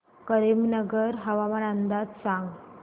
करीमनगर हवामान अंदाज सांग